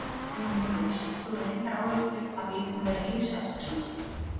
Jón Júlíus: Þú hefur engar áhyggjur af líkamlegri heilsu eftir svona?